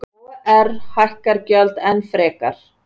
OR hækkar gjöld enn frekar